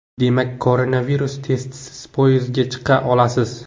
Demak, koronavirus testisiz poyezdga chiqa olasiz .